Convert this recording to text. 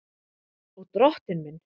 Og Drottinn minn!